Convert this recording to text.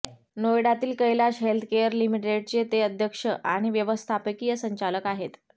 नोएडातील Kailash healthcare लिमिटेडचे ते अध्यक्ष आणि व्यवस्थापकीय संचालक आहेत